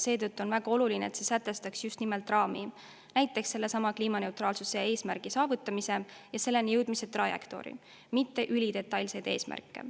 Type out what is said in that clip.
Seetõttu on väga oluline, et see sätestaks just nimelt raami, näiteks sellesama kliimaneutraalsuse eesmärgi saavutamise ja selleni jõudmise trajektoori, mitte ülidetailseid eesmärke.